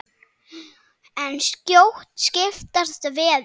En skjótt skipast veður.